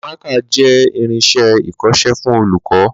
Mákà jẹ́ irinsé ìkọsẹ́ fún olùkọ́